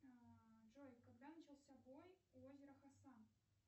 джой когда начался бой у озера хасан